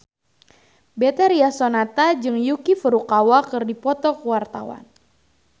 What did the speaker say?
Betharia Sonata jeung Yuki Furukawa keur dipoto ku wartawan